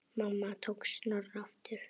Mamma tók Snorra aftur.